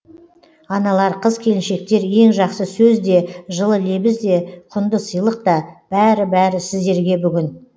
аналар қыз келіншектер ең жақсы сөз де жылы лебіз де құнды сыйлық та бәрі бәрі сіздерге бүгін